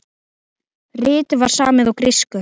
Ritið var samið á grísku.